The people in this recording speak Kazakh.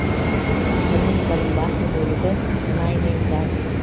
экономиканың басым бөлігі мұнай мен газ